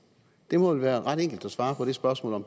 det må vel være ret enkelt at svare på det spørgsmål